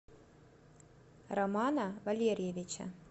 романа валерьевича